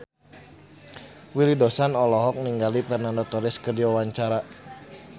Willy Dozan olohok ningali Fernando Torres keur diwawancara